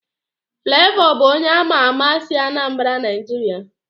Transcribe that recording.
Flavor bụ onye ama ama si Anambra Nigeria.